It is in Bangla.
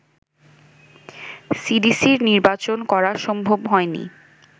সিডিসির নির্বাচন করা সম্ভব হয়নি